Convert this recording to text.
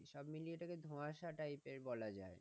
সবমিলিয়ে এটাকে ধুয়াশা type এর বলা যায়।